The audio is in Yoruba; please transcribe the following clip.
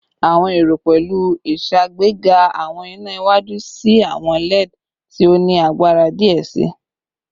Awọn ero pẹlu iṣagbega awọn ina iwaju si awọn LED ti o ni agbara diẹ sii